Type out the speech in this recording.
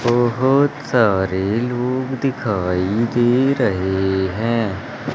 बहुत सारे लोग दिखाई दे रहे हैं।